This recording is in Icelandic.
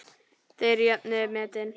Þeir jöfnuðu metin.